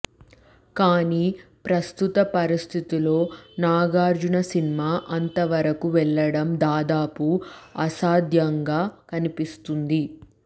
కానీ ప్రస్తుత పరిస్థితుల్లో నాగార్జున సినిమా అంత వరకు వెళ్లడం దాదాపు అసాధ్యంగా కనిపిస్తుంది